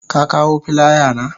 Ka kawo filaya na?